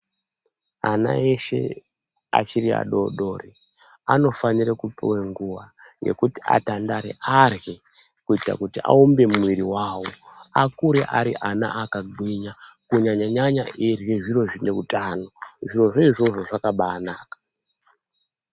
Ana eshe achiri adoodori anofanira kupuwe nguva yekuti atandare arye kuita kuti aumbe muviri wavo akure ari ana akagwinya kunyanya nyanya eirye zviro zvineutano zvirozvo izvozvo zvakabanaka.